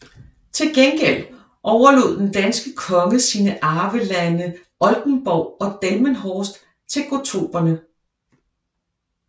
Til gengæld overlod den danske konge sine arvelande Oldenborg og Delmenhorst til gottorperne